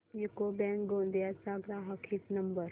UCO bank Gondia चा ग्राहक हित नंबर